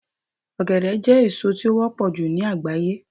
ogede je èso ti o wọpọ ju ni agbaye